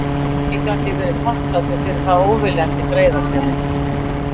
Mikið gat ég verið þakklátur fyrir þá óviljandi greiðasemi.